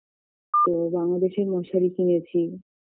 তো বাংলাদেশের মশারী কিনেছি